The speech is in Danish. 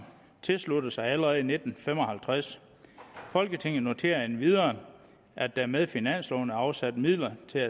tilsluttede sig allerede i nitten fem og halvtreds folketinget noterer endvidere at der med finansloven er afsat midler til